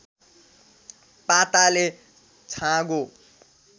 पाताले छाँगो